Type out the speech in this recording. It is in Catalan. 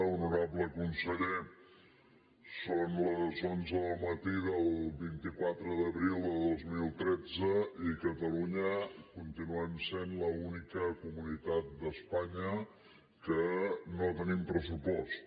honorable conseller són les onze del matí del vint quatre d’abril de dos mil tretze i catalunya continuem sent l’única comunitat d’espanya que no tenim pressupost